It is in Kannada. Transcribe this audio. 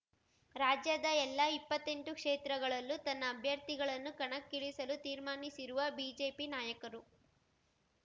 ರಾಜ್ಯದ ಎಲ್ಲಾ ಇಪ್ಪತ್ತೆಂಟು ಕ್ಷೇತ್ರಗಳಲ್ಲೂ ತನ್ನ ಅಭ್ಯರ್ಥಿಗಳನ್ನು ಕಣಕ್ಕಿಳಿಸಲು ತೀರ್ಮಾನಿಸಿರುವ ಬಿಜೆಪಿ ನಾಯಕರು